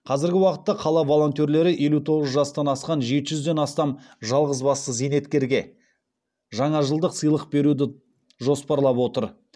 қазіргі уақытта қала волонтерлері елу тоғыз жастан асқан жеті жүзден астам жалғызбасты зейнеткерге жаңажылдық сыйлық беруді жоспарлап отыр